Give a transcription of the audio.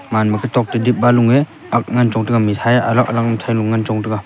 man ma katok toh dip ba lung e angk ngan chong taiga alag alag mithai lung chong ngan taiga.